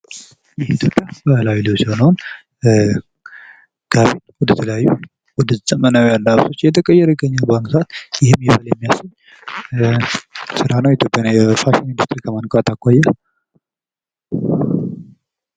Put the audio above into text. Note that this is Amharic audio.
የኢትዮጵያ ባህላዊ ልብስ የሆነዉን ጋቢ ወደ ተለያዩ ወደ ዘመናዊ አለባበሶች እየተቀየረ ይገኛል በአሁኑ ሰዓት ይህም ይበል የሚያሰኝ ስራ ነዉ ዘመናዊ ፋሽን ኢንዱስትሪ ከማንቃት አኳያ።